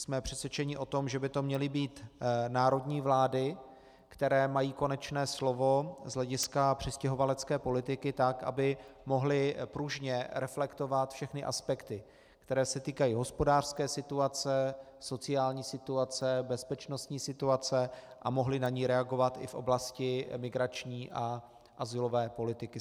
Jsme přesvědčeni o tom, že by to měly být národní vlády, které mají konečné slovo z hlediska přistěhovalecké politiky, tak aby mohly pružně reflektovat všechny aspekty, které se týkají hospodářské situace, sociální situace, bezpečnostní situace, a mohly na ni reagovat i v oblasti emigrační a azylové politiky.